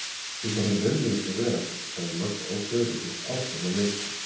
Þú bara nennir ekki að vera hann, sagði Magga ákveðin og hélt áfram að leita.